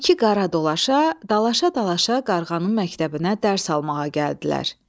İki qara dolaşa dalaşa-dalaşa qarğanın məktəbinə dərs almağa gəldilər.